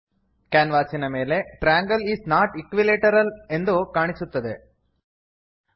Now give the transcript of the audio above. ಕ್ಯಾನ್ವಾಸಿನ ಮೇಲೆ triangle is not equilateral triangle is not equilateral ಎಂದು ಕಾಣಿಸುತ್ತದೆ